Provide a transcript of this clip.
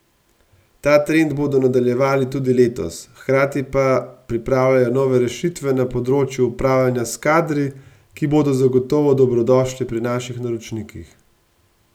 Ta trend bodo nadaljevali tudi letos, hkrati pa pripravljajo nove rešitve na področju upravljanja s kadri, ki bodo zagotovo dobrodošle pri naših naročnikih.